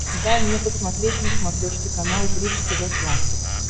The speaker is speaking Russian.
дай мне посмотреть на смотрешке канал бридж тв классик